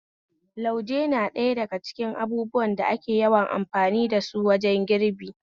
Lauje na daya daga cikin mafi yawan abubuwan da ake amfani dasu wajen girbi